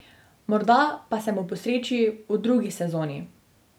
Morda pa se mu posreči v drugi sezoni.